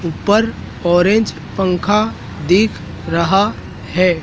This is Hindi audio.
ऊपर ऑरेंज पंखा दिख रहा है।